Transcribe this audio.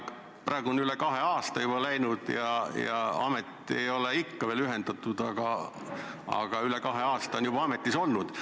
Praegu on üle kahe aasta juba läinud ja amet ei ole ikka veel ühendatud, aga on üle kahe aasta juba ametis olnud.